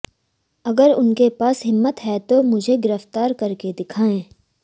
अगर उनके पास हिम्मत है तो मुझे गिरफ्तार करके दिखाएं